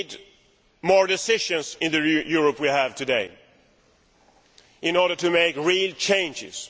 We need more decisions in the Europe we have today in order to make real changes.